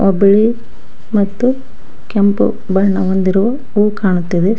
ಬಿಳಿ ಮತ್ತು ಕೆಂಪು ಬಣ್ಣ ಹೊಂದಿರುವ ಹೂ ಕಾಣುತ್ತಿದೆ.